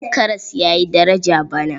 Karas ya yi daraja bana.